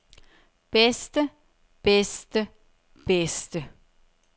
bedste bedste bedste